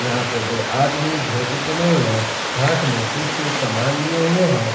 यहां पे दो आदमी धोती पहने हुए हाथ में कुछ सामान लिए हुए हैं।